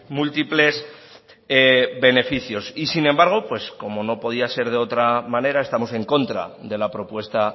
múltiples beneficios y sin embargo pues como no podía ser de otra manera estamos en contra de la propuesta